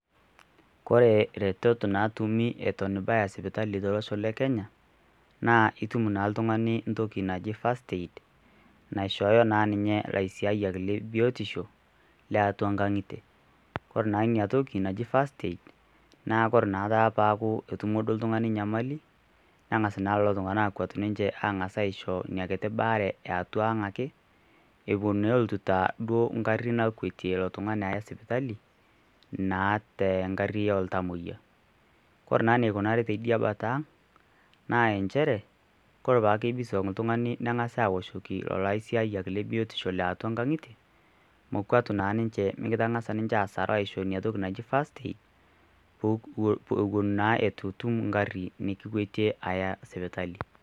Kore retoto naatumi eton ibaya sipitali to losho le Kenya naa itum naa oltungani ntoki naji first aid naishoyo naa ninye laisiayak le biotisho le atua nkang'itie. Ore naa ina toki naji first aid nakoor naake paaku etumo duo oltangani nyamali nengas naa lelo tungana akuat ninche aisho nyakiti baare ee atua ang ake epon taa oloito duo gari nakuetie ilo tungani aya sipitali naa te gari oo ltamoyia. Ore naa inakunari tidia paatang' naa inchere ore apake pigoso oltungani neng'asi aoshoki olaisiyayak le biotisho le atua nkang'itie mekuatu naa ninche mikitang'asa ninche asar aisho inatoki naji first aid eton naa itutum egari nikikuetie aya sipitali.